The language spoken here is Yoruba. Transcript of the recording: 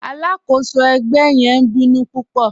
Aláàkọ́sọ̀ ẹgbẹ̀ yẹn ǹ bínú púpọ̀.